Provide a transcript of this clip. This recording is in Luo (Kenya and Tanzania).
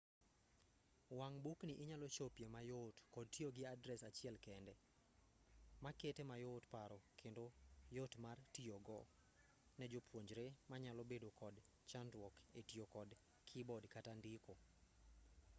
wang'bukni inyal chopie mayot kod tiyo gi adres achiel kende makete mayot paro kendo yot mar tiyogodo ne jopuonjre manyalo bedo kod chandruok etiyo kod keyboard kata ndiko